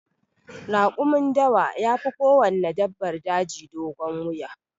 Rakumin dawa yafi kowanne dabbar daji dogon wuya.